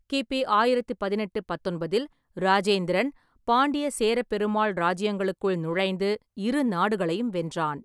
கி.பி. ஆயிரத்தி பதினெட்டு-பத்தொன்பதில் இராஜேந்திரன் பாண்டிய, சேரப் பெருமாள் ராஜ்ஜியங்களுக்குள் நுழைந்து இரு நாடுகளையும் வென்றான்.